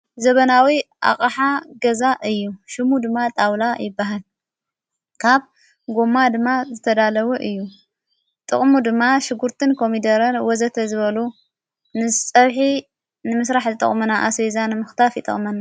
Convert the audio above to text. ዘበናዊ ኣቕሓ ገዛ እዩ። ሹሙ ድማ ጣውላ ይበሃል። ካብ ጎማ ድማ ዘተዳለዎ እዩ። ጥቕሙ ድማ ሽጕርትን ኮሚደረር ወዘተ ዝበሉ ንጸብሒ ንምሥራሕ ዝጠቕምና ኣሴቤዛን ምኽታፍ ይጠቕመና።